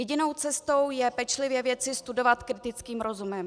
Jedinou cestou je pečlivě věci studovat kritickým rozumem.